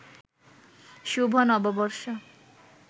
শুভ নববর্ষ